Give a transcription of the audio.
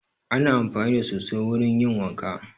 Ana amfani da soso wurin yin wanka